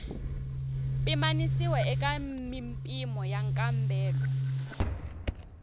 pimanisiwa eka mimpimo wa nkambelo